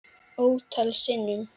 Ótal sinnum.